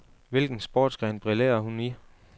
Hvilken sportsgren brillerer hun i?